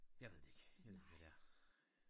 Jeg ved det ikke jeg ved ikke hvad det er